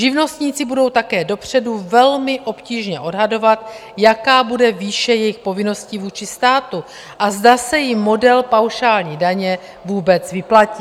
Živnostníci budou také dopředu velmi obtížně odhadovat, jaká bude výše jejich povinností vůči státu a zda se jim model paušální daně vůbec vyplatí.